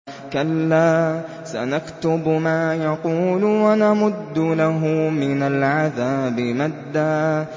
كَلَّا ۚ سَنَكْتُبُ مَا يَقُولُ وَنَمُدُّ لَهُ مِنَ الْعَذَابِ مَدًّا